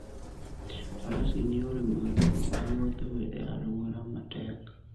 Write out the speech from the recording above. Faras gin yore mag wuoth e alwora matek.